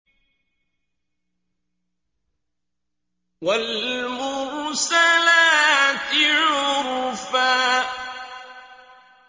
وَالْمُرْسَلَاتِ عُرْفًا